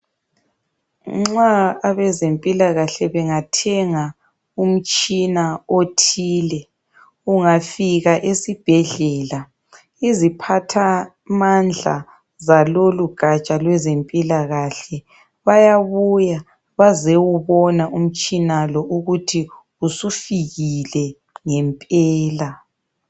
Nxa abezempilakahle bengathenga umtshina othile, ungafika esibhedlela iziphathamandla zalolu gatsha lwezempilakahle bayabuya bezowubona umtshina lo ukuthi usufikile ngempela.